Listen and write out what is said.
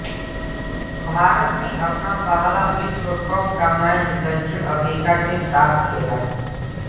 भारत ने अपना पहला विश्व कप का मैच दक्षिण अफ्रीका के साथ खेला